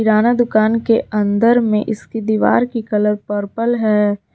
किराना दुकान के अंदर में इसकी दीवार की कलर पर्पल है।